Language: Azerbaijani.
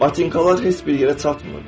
Batinkalar heç bir yerə çatmırdı.